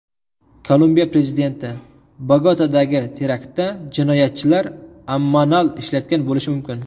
Kolumbiya prezidenti: Bogotadagi teraktda jinoyatchilar ammonal ishlatgan bo‘lishi mumkin.